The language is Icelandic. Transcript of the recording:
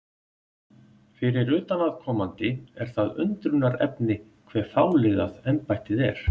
Fyrir utanaðkomandi er það undrunarefni hve fáliðað embættið er.